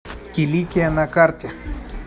киликия на карте